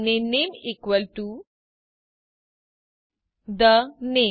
અને નામે equal to the name